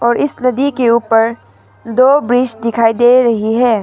इस नदी के ऊपर दो ब्रिज दिखाई दे रही है।